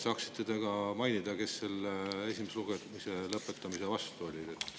Saaksite te ka mainida, kes esimese lugemise lõpetamise vastu olid?